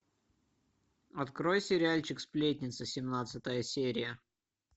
открой сериальчик сплетница семнадцатая серия